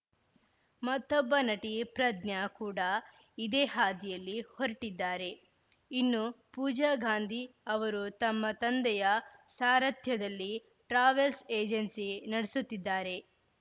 ಮತ್ತೊಬ್ಬ ನಟಿ ಪ್ರಜ್ಞಾ ಕೂಡ ಇದೇ ಹಾದಿಯಲ್ಲಿ ಹೊರಟಿದ್ದಾರೆ ಇನ್ನೂ ಪೂಜಾ ಗಾಂಧಿ ಅವರು ತಮ್ಮ ತಂದೆಯ ಸಾರಥ್ಯದಲ್ಲಿ ಟ್ರಾವೆಲ್‌ ಏಜೆನ್ಸಿ ನಡೆಸುತ್ತಿದ್ದಾರೆ